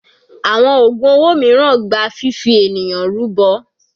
Àwọn ògùn owó mìíràn gba fifi ènìyàn rúbọ.